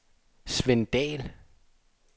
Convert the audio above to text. Sven Dall